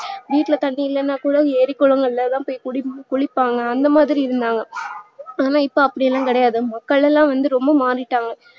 வீட்டுல தண்ணி இல்லனா கூட ஏறி குலங்கள்ளதா குடி குளிப்பாங்க அந்த மாதிரி இருந்தாங்க ஆனா இப்ப அப்டில்லா கிடையாது மக்கள்லா ரொம்ப மாறிட்டாங்க